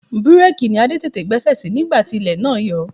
Bireeki ni Adé tètè gbẹ́sẹ̀ sí nígbà tí ilẹ̀ náà yọ ọ́.